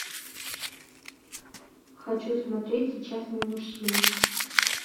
хочу смотреть сейчас мы мужчины